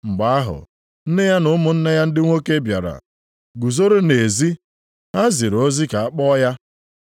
Mgbe ahụ, nne ya na ụmụnne ya ndị nwoke bịara, guzoro nʼezi. Ha ziri ozi ka a kpọọ ya.